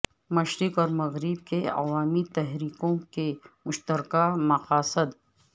مشرق اور مغرب کی عوامی تحریکوں کے مشترکہ مقاصد